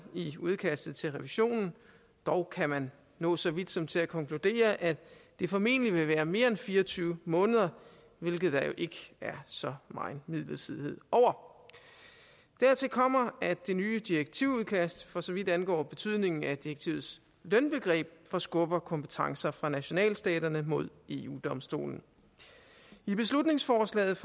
i udkastet til revisionen dog kan man nå så vidt som til at konkludere at det formentlig vil være mere end fire og tyve måneder hvilket der jo ikke er så meget midlertidighed over dertil kommer at det nye direktivudkast for så vidt angår betydningen af direktivets lønbegreb forskubber kompetencer fra nationalstaterne mod eu domstolen i beslutningsforslaget